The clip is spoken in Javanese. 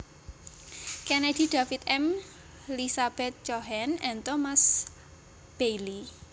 Kennedy David M Lizabeth Cohen and Thomas Bailey